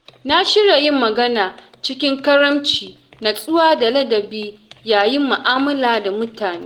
Na shirya yin magana cikin karamci, nutsuwa da ladabi yayin mu’amala da mutane.